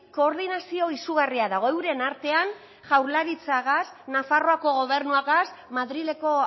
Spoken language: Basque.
koordinazio izugarria dago euren artean jaurlaritzagaz nafarroako gobernuagaz madrileko